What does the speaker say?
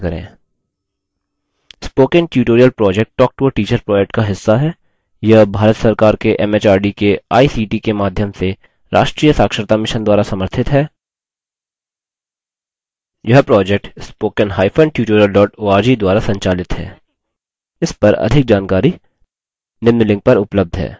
spoken tutorial project talktoateacher project का हिस्सा है यह भारत सरकार के एमएचआरडी के आईसीटी के माध्यम से राष्ट्रीय साक्षरता mission द्वारा समर्थित है इस पर अधिक जानकारी निम्न लिंक पर उपलब्ध है